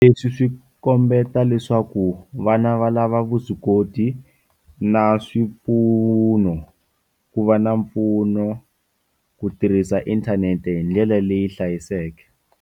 Leswi swi kombeta leswaku vana va lava vuswikoti na swipfuno ku va pfuno ku tirhisa inthanete hi ndlela leyi hlayiseke.